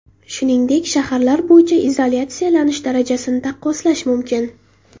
Shuningdek, shaharlar bo‘yicha izolyatsiyalanish darajasini taqqoslash mumkin.